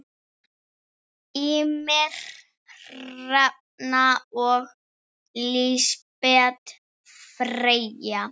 Ýmir, Hrefna og Lísbet Freyja.